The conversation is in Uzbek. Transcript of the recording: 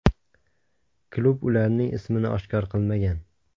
Klub ularning ismini oshkor qilmagan.